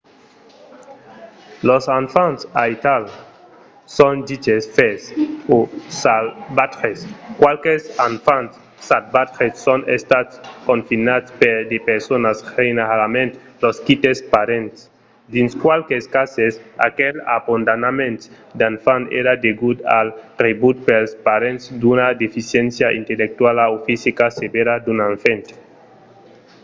los enfants aital son diches fèrs o salvatges. qualques enfants salvatges son estats confinats per de personas generalament los quites parents; dins qualques cases aquel abandonament d'enfants èra degut al rebut pels parents d'una deficiéncia intellectuala o fisica sevèra d'un enfant